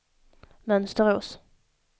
Mönsterås